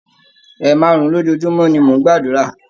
Ẹ̀máàrún-un lojúmọ́ ni mó n gbàdúrà.